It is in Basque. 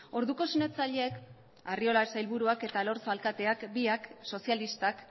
orduko sinatzaileek arriola sailburuak eta elorza alkateak biak sozialistak